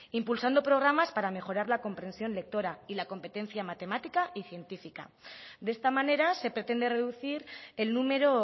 impulsando programas para mejorar la compresión lectora y la competencia matemática y científica de esta manera se pretende reducir el número